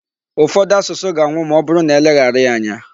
Ufodu asusu ga-anwụ ma ọbụrụ na e leghara ya anya.